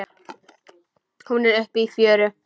Hún er uppi í fjöru.